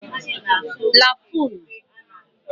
lafun